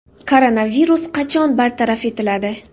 Koronavirus qachon bartaraf etiladi?